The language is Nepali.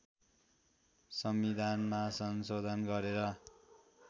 संविधानमा संशोधन गरेर